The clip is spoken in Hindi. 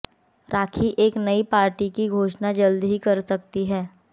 राखी एक नई पार्टी की घोषणा जल्द ही कर सकती हैं